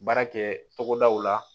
Baara kɛ togodaw la